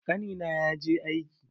Ƙanina ya je aike.